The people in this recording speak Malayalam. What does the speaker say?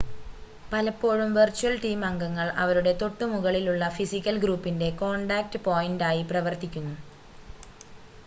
പലപ്പോഴും വെർച്വൽ ടീം അംഗങ്ങൾ അവരുടെ തൊട്ടുമുകളിലുള്ള ഫിസിക്കൽ ഗ്രൂപ്പിൻ്റെ കോൺടാക്റ്റ് പോയിൻ്റായി പ്രവർത്തിക്കുന്നു